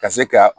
Ka se ka